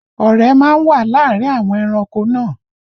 Ọ̀rẹ́ má ń wà láàárín àwọn ẹranko náà